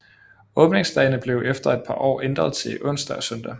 Åbningsdagene blev efter et par år ændret til onsdag og søndag